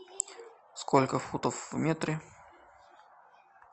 сколько футов в метре